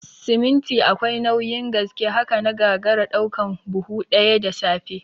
Siminti akwai nauyin gaske, haka na gagara ɗaukan buhu ɗaya da safe